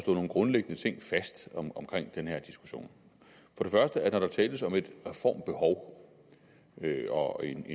nogle grundlæggende ting fast omkring den her diskussion når der tales om et reformbehov og en